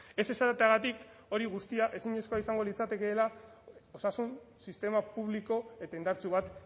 ez esateagatik hori guztia ezinezkoa izango litzatekeela osasun sistema publiko eta indartsu bat